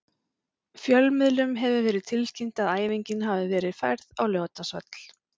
Fjölmiðlum hefur verið tilkynnt að æfingin hafi verið færð á Laugardalsvöll.